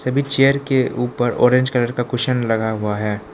Chair के उपर orange colour का कुशन लगा हुआ है।